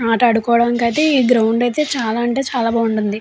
ఆటాడుకోవడానికి అయితే ఈ గ్రౌండ్ అయితే చాలా అంటే చాలా బాగుంటుంది.